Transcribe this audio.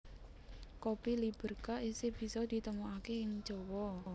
Kopi Liberka isih bisa ditemokake ing Jawa